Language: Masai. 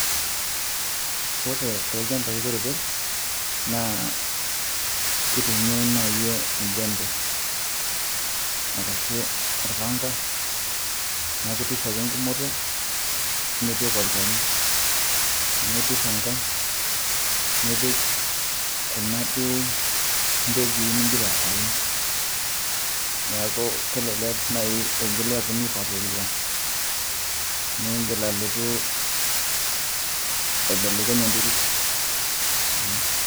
Ore toolchambai kutiti naa keitumiai naaji enjembe arashu olpanga, neeku iturr ake enkumoto nipik olchani, niturr enkae nipik kuna duo pekui nigira aun neeku kelelek naaji eigili aapuonu aipalilia, ningil alotu aibelekeny enterit.